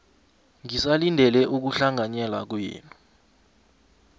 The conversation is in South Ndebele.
ngisalindele ukuhlanganyela kwenu